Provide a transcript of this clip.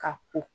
Ka ko